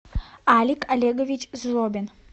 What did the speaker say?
алик олегович злобин